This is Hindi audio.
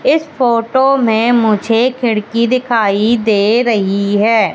इस फोटो में मुझे खिड़की दिखाई दे रही है।